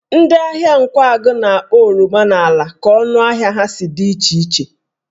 Ndị ahịa Nkwagụ na-akpọ oroma n'ala ka ọnụ ahịa ha si dị iche iche